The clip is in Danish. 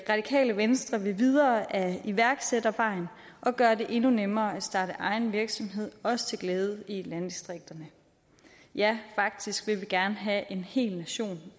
radikale venstre vil videre ad iværksættervejen og gøre det endnu nemmere at starte egen virksomhed også til glæde i landdistrikterne ja faktisk vil vi gerne have en hel nation